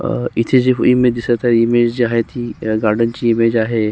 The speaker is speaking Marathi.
अ इथे जी इमेज दिसत आहे इमेज जी आहे ती गार्डन ची इमेज आहे.